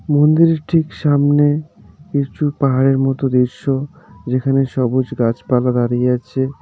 মন্দিরের ঠিক সামনে কিছু পাহাড়ের মতো দৃশ্য যেখানে সবুজ গাছপালা দাঁড়িয়ে আছে .